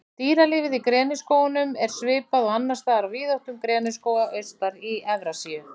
Dýralífið Í greniskógunum er svipað og annars staðar á víðáttum greniskóga austar í Evrasíu.